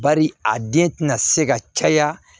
Bari a den tɛna se ka caya